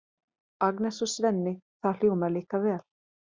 Agnes og Svenni, það hljómar líka vel.